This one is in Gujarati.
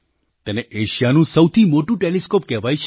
તેને એશિયાનું સૌથી મોટું ટૅલિસ્કૉપ કહેવાય છે